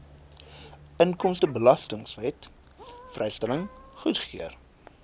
inkomstebelastingwet vrystelling goedgekeur